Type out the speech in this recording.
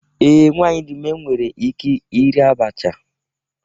Ee, nwanyị dị ime nwere ike iri abacha.